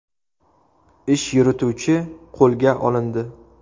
Ish yurituvchi qo‘lga olindi.